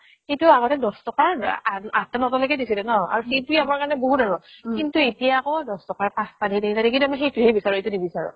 সেইটো আগতে দহ টকা আঠতা নওতা লৈ দিছিলে ন আৰু সেইটোয়ে আমাৰ কাৰণে বহুত আৰু কিন্তু এতিয়া আকৌ দহ টকাৰ পাচতা কিন্তু মই সেইটো হে বিচাৰো এইটো নিবিচাৰো